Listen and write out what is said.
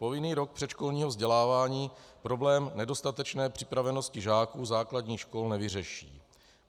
Povinný rok předškolního vzdělávání problém nedostatečné připravenosti žáků základních škol nevyřeší.